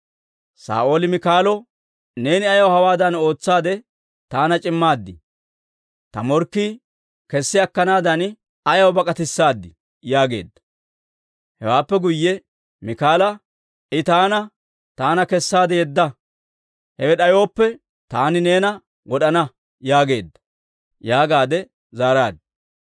Saa'ooli Miikaalo, «Neeni ayaw hawaadan ootsaade taana c'immaad? Ta morkkii kessi akkanaadan ayaw bak'atissaadii?» yaageedda. Hewaappe guyye Miikaala, «I taana, ‹Taana kessaade yedda; hinna d'ayooppe, taani neena wod'ana› yaageedda» yaagaade zaaraaddu.